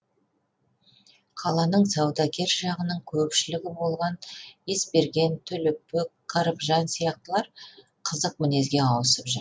қаланың саудагер жағының көпшілігі болған есберген төлепбек кәрібжан сияқтылар қызық мінезге ауысып жүр